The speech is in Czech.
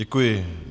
Děkuji.